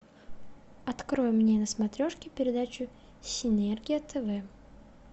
открой мне на смотрешке передачу синергия тв